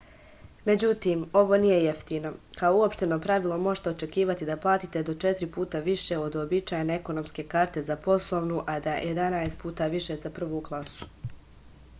međutim ovo nije jeftino kao uopšteno pravilo možete očekivati da platite do četiri puta više od uobičajene ekonomske karte za poslovnu a jedanaest puta više za prvu klasu